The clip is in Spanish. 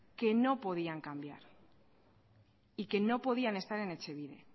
que no podían cambiar y que no podían estar en etxebide